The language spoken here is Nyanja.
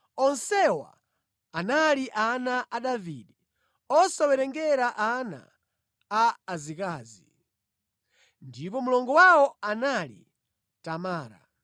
Onsewa anali ana a Davide, osawerengera ana a azikazi. Ndipo mlongo wawo anali Tamara.